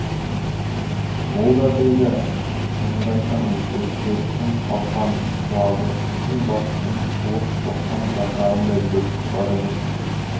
олда-білда шынымды айтамын деп серіктің қалқан құлағы күнбатыстың суық соққан жапырағындай бүрісіп бара жатты